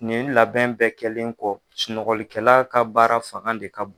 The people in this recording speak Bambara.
Nin labɛn bɛɛ kɛlen kɔ ,sunɔgɔlikɛla ka baara fanga de ka bon.